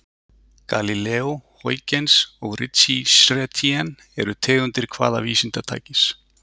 Galíleó, Huygens og Ritchey-Chrétien eru tegundir hvaða vísindatækis?